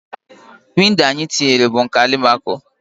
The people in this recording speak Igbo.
Windo anyi tinyere bu nke alụ alumaco